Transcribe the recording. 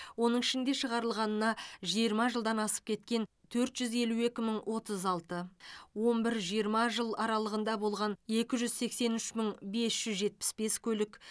оның ішінде шығарылғанына жиырма жылдан асып кеткен төрт жүз елу екі мың отыз алты он бір жиырма жыл аралығында болған екі жүз сексен үш мың бес жүз жетпіс бес көлік